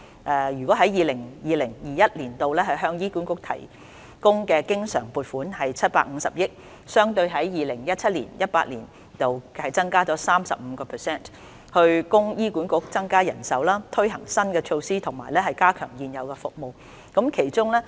在 2020-2021 年度，政府向醫管局提供的經常撥款為750億元，相對 2017-2018 年度增加 35%， 以供醫管局增加人手、推行新的措施及加強現有服務。